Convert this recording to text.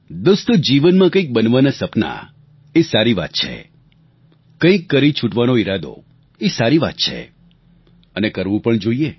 દોસ્તો જીવનમાં કંઈક બનવાના સપના એ સારી વાત છે કંઈક કરી છૂટવાનો ઈરાદો એ સારી વાત છે અને કરવું પણ જોઈએ